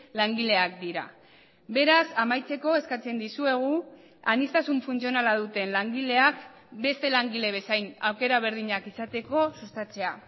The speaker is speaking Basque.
langileak dira beraz amaitzeko eskatzen dizuegu aniztasun funtzionala duten langileak beste langile bezain aukera berdinak izateko sustatzea